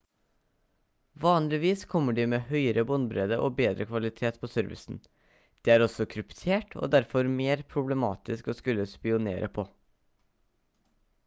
vanligvis kommer de med høyere båndbredde og bedre kvalitet på servicen de er også kryptert og derfor mer problematisk å skulle spionere på